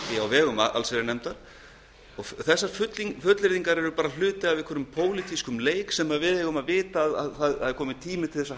á vegum allsherjarnefndar þessar fullyrðingar eru hluti af einhverjum pólitískum leik og við eigum að vita að það er kominn tími til að